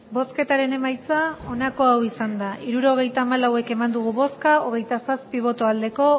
hirurogeita hamalau eman dugu bozka hogeita zazpi bai